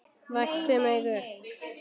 Vakti mig upp.